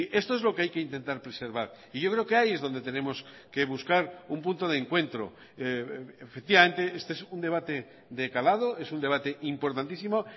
esto es lo que hay que intentar preservar y yo creo que ahí es donde tenemos que buscar un punto de encuentro efectivamente este es un debate de calado es un debate importantísimo